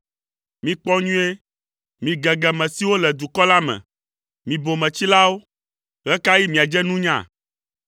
Mikpɔ nyuie, mi gegeme siwo le dukɔ la me, mi bometsilawo, ɣe ka ɣi miadze nunya?